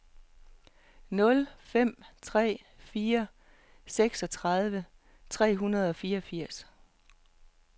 nul fem tre fire seksogtredive tre hundrede og fireogfirs